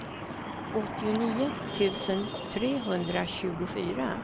åttionio tusen trehundratjugofyra